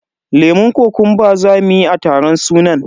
lemun kokumba zamu yi a taron sunan.